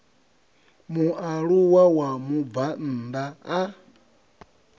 mualuwa wa mubvann ḓa a